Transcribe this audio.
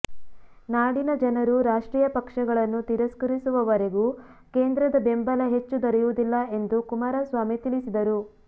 ನಾಡಿನ ಜನರು ರಾಷ್ಟ್ರೀಯ ಪಕ್ಷಗಳನ್ನು ತಿರಸ್ಕರಿಸುವವರೆಗೂ ಕೇಂದ್ರದ ಬೆಂಬಲ ಹೆಚ್ಚು ದೊರೆಯುವುದಿಲ್ಲ ಎಂದು ಕುಮಾರಸ್ವಾಮಿ ತಿಳಿಸಿದರು